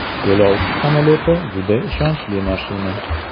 Yo‘lovchi samolyoti juda ishonchli mashina.